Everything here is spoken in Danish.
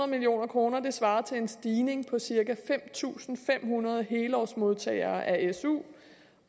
million kroner svarer til en stigning på cirka fem tusind fem hundrede helårsmodtagere af su